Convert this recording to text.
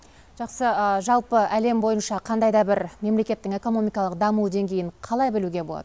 жақсы жалпы әлем бойынша қандай да бір мемлекеттің экономикалық даму деңгейін қалай білуге болады